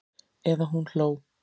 Eða hún hló.